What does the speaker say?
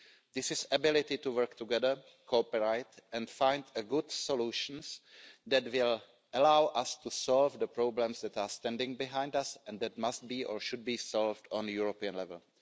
This is the ability to work together, to cooperate and find good solutions that will allow us to solve the problems that are standing behind us and that must be, or should be, solved on a European level.